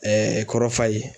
kɔrɔ Fayi.